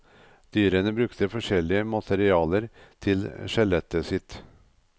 Dyrene brukte forskjellige materialer til skjelettet sitt.